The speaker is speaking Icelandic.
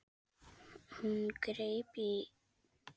Hún greip í